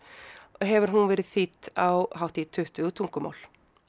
hefur hún verið þýdd á hátt í tuttugu tungumál